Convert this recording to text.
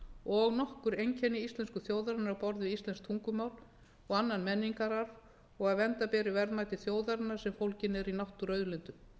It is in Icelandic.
og nokkur einkenni íslensku þjóðarinnar á borð við íslenskt tungumál og annan menningararf og að vernda beri verðmæti þjóðarinnar sem fólgin eru í náttúruauðlindum